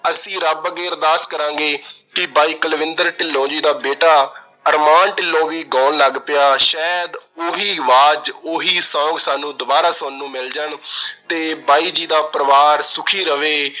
ਅਸੀਂ ਰੱਬ ਅੱਗੇ ਅਰਦਾਸ ਕਰਾਂਗੇ ਕਿ ਬਾਈ ਕੁਲਵਿੰਦਰ ਢਿੱਲੋਂ ਜੀ ਦਾ ਬੇਟਾ ਅਰਮਾਨ ਢਿੱਲੋਂ ਵੀ ਗਾਉਣ ਲੱਗ ਪਿਆ। ਸ਼ਾਇਦ ਉਹੀ ਆਵਾਜ਼, ਉਹੀ song ਸਾਨੂੰ ਦੁਬਾਰਾ ਸੁਣਨ ਨੂੰ ਮਿਲ ਜਾਣ ਤੇ ਬਾਈ ਜੀ ਦਾ ਪਰਿਵਾਰ ਸੁਖੀ ਰਵੇ।